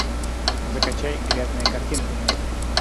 закачай грязная картина